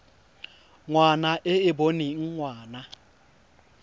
ngwana e e boneng ngwana